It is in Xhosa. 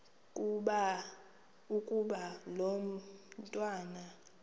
ukuba lo mntwana